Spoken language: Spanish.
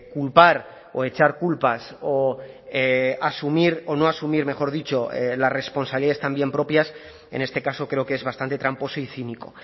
culpar o echar culpas o asumir o no asumir mejor dicho las responsabilidades también propias en este caso creo que es bastante tramposo y cínico